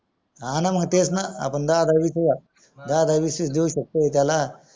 हाना मंग तेच ना आपण दहा दहा वीस वीस हजार दाह दाह वीस वीस देऊ शकतो त्याला